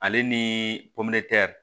Ale ni pomɛri